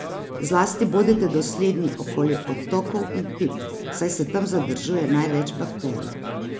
Zlasti bodite dosledni okoli odtokov in pip, saj se tam zadržuje največ bakterij.